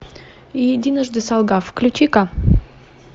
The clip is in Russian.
единожды солгав включи ка